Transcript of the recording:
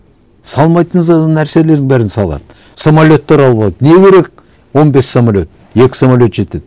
салмайтын нәрселердің бәрін салады самолеттер алуға не керек он бес самолет екі самолет жетеді